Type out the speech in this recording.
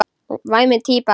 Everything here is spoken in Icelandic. Væmin típa.